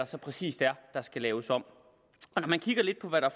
så præcis er der skal laves om når man kigger lidt på hvad der